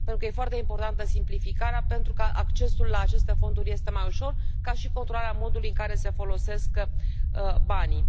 E foarte importantă simplificarea pentru că accesul la aceste fonduri este mai ușor, ca și controlarea modului în care se folosesc banii.